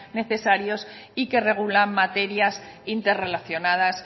necesarios y que regulan materias interrelacionadas